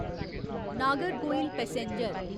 Nagercoil passenger